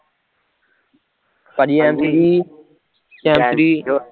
ਭਾਜੀ M G ਦੀ